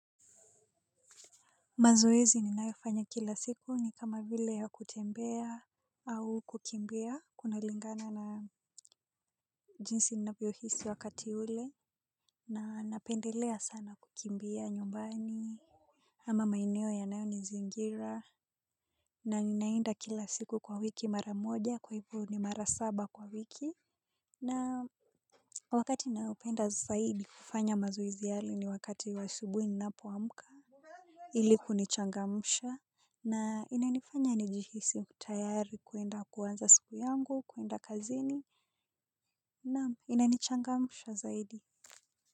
Mazoezi ninayofanya kila siku ni kama vile ya kutembea. Au kukimbia kuna lingana na jinsi ninavyohisi wakati ule. Na napendelea sana kukimbia nyumbani. Ama maeneo yanayo nizingira. Na ninaenda kila siku kwa wiki mara moja kwa hivyo ni mara saba kwa wiki. Na wakati ninaopenda zaidi kufanya mazoezi yale ni wakati wa asubuhi ninapo amka ili kunichangamsha. Na inanifanya nijihisi tayari kwenda kuanza siku yangu, kwenda kazini, na inanichangamsha zaidi.